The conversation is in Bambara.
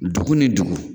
Dugu ni dugu